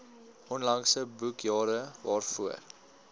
onlangse boekjare waarvoor